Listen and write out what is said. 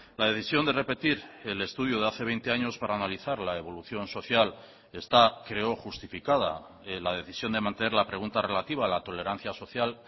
la decisión de repetir el estudio de hace veinte años para analizar la evolución social está creo justificada la decisión de mantener la pregunta relativa a la tolerancia social